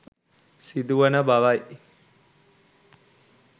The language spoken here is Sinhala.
සිදු වන බවයි